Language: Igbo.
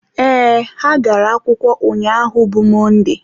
ee, ha gara akwụkwọ ụnyaahụ bụ Mọnde